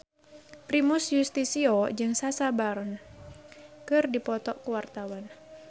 Primus Yustisio jeung Sacha Baron Cohen keur dipoto ku wartawan